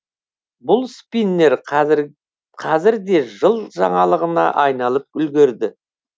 бұл спиннер қазірде жыл жаңалығына айналып үлгерді